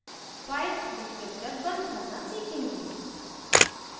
file descriptor fd बंद करना सीखेंगे